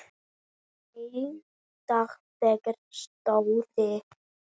Einn dag þegar Stóri